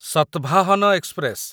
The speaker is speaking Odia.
ଶତଭାହନ ଏକ୍ସପ୍ରେସ